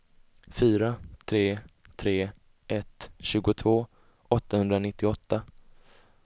fyra tre tre ett tjugotvå åttahundranittioåtta